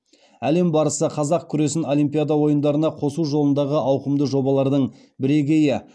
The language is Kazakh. әлем барысы қазақ күресін олимпиада ойындарына қосу жолындағы ауқымды жобалардың бірегейі